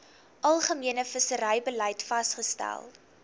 algemene visserybeleid vasgestel